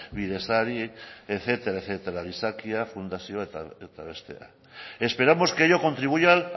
bidezari etcétera etcétera gizakia fundazioak eta besteak esperamos que ello contribuya